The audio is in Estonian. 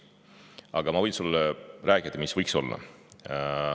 Aga ma võin sulle rääkida, mis võiks seal olla.